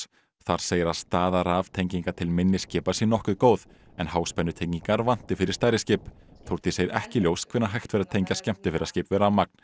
þar segir að staða til minni skipa sé nokkuð góð en háspennutengingar vanti fyrir stærri skip Þórdís segir ekki ljóst hvenær hægt verði að tengja skemmtiferðaskip við rafmagn